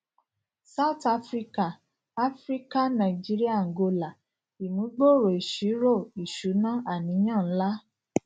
south africa africa nàìjíríà àǹgólà ìmúgbòòrò ìṣirò ìṣúná àníyàn ńlá